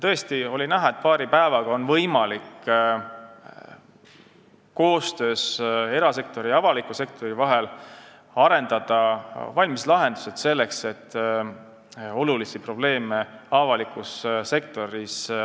Tõesti oli näha, et paari päevaga on võimalik erasektori ja avaliku sektori vahelises koostöös arendada välja valmislahendused, et lahendada probleeme avalikus sektoris.